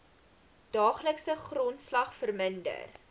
daaglikse grondslag verminder